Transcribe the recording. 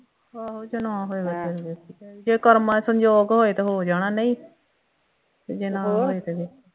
ਆਹੋ ਜੇ ਨਾ ਹੋਏ ਜੇ ਕਰਮਾਂ ਸੰਜੋਗ ਹੋਏ ਤਾਂ ਹੋ ਜਾਣਾ ਨਹੀਂ ਤੇ ਜੇ ਨਾ ਹੋਏ ਤੇ ਫੇਰ